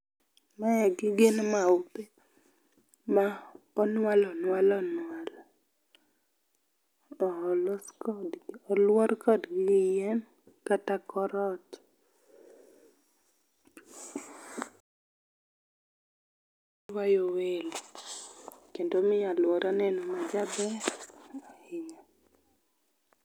Maegi gin maupe ma onwal onwal onwal to olos kodgi, oluor kodgi yien kata kor ot. Oywayo welo kendo omiyo aluora neno majaber ahinya